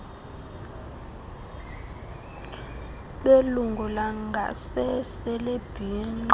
belungu langasese lebhinqa